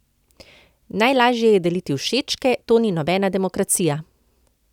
Najlažje je deliti všečke, to ni nobena demokracija!